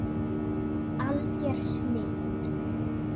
Alger snilld.